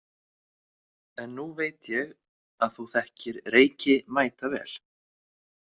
En nú veit ég að þú þekkir Reyki mætavel.